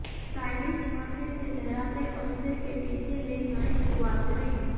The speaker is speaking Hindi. स्टाइलिस्ट माथे से लहराते और सिर के पीछे ले जाएँ शुरुआत करें